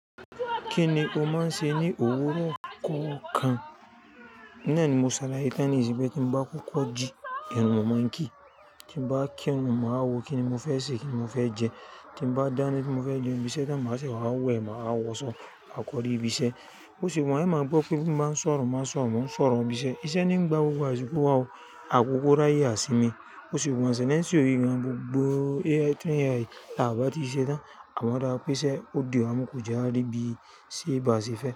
Kíni o máa ń ṣe ní òwúrọ̀ kokan? Nàá ni mo ṣalaye tán nísin ti n bá kókó jí irun mo máa ń kí, tí n bá kí irun màá wo wa wo kíni mo fẹ́ ṣe, kíni mo fẹ́ jẹ. Ti n bá dání tí mo fẹ́ jẹ ibiṣẹ́ táń máa ṣe, màá wẹ̀, màá wọṣọ, máa kọrí ibiṣẹ́. Bo se wa yen e máa gbọ́ pé bí mo bá ń sọ̀rọ̀, màá sọ̀rọ̀ mọ́ ohun ìṣọ̀rọ̀ ibiṣẹ́. Iṣẹ́ ní ń gba gbogbo àsìkò wa o, àpòpọ̀ ráyè á sinmi. Ó sì wù mí ṣe ní nítorí ohun gbogbo tí yẹ láti ṣe dá, à máa odá pé iṣe ó di ọdi wa mu kò je a ri bí i ṣe bá ṣe fẹ́